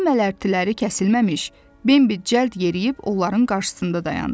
Qəmli mələrtiləri kəsilməmiş, Bembi cəld yeriyib onların qarşısında dayandı.